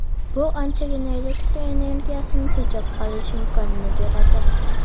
Bu anchagina elektr energiyasini tejab qolish imkonini beradi.